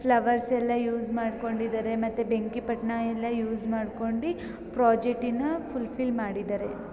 Flowers ಎಲ್ಲ use ಮಾಡ್ಕೊಂಡು ಇದ್ದಾರೆ ಹಾಗೆ ಬೆಂಕಿ ಪಟ್ಟಣ ಯೂಸ್ ಮಾಡ್ಕೊಂಡಿ ಪ್ರಾಜೆಕ್ಟ್ಮಾನ್ನ ಫುಲ್ ಫಿಲ್ ಮಾಡಿದ್ದಾರೇ .